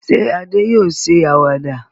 Ṣé Adé yóò ṣe àwàdà?